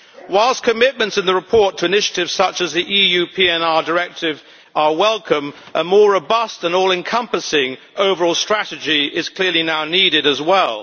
Whilst commitments in the report to initiatives such as the EU PNR Directive are welcome, a more robust and all encompassing overall strategy is clearly now needed as well.